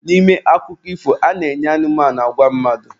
N'ime akụkọ ifo, a na-enye anụmanụ agwa mmadụ.